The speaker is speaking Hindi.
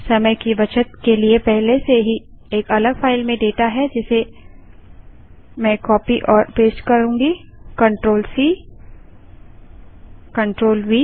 समय की बचत के लिए पहले से ही एक अलग फाइल में डेटा है जिसे मैं कॉपी और पेस्ट CTRLC CTRLV करती हूँ